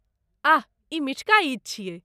आह! ई मिठका ईद छियै।